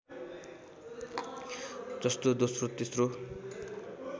जस्तो दोस्रो तेस्रो